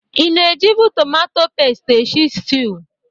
Ị na-ejibe tomato pest esi stiu?